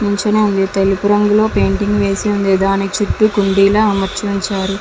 మంచిగా తెలుపు రంగులో రంగు వేసి ఉన్నది. దాని చుట్టూ కుండిలా అమర్చి ఉన్నారు.